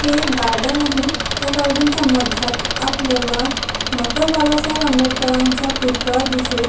हे एक गार्डन आहे त्या गार्डन च्या मध्यात आपल्याला डॉक्टर बाबासाहेब आंबेडकरांचा पुतळा दिसेल.